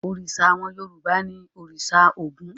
Òrìṣà àwọn Yorùbá ni òrìṣà Ògún.